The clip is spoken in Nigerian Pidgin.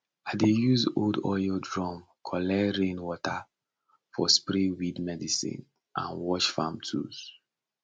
i dey use old oil drum collect rain water for spray weed medicine and wash farm tools